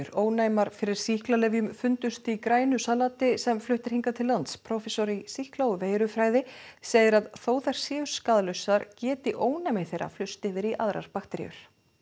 ónæmar fyrir sýklalyfjum fundust í grænu salati sem flutt er hingað til lands prófessor í sýkla og veirufræði segir að þótt þær séu skaðlausar geti ónæmi þeirra flust yfir í aðrar bakteríur